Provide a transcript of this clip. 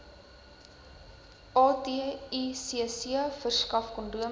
aticc verskaf kondome